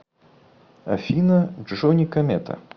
афина джони комета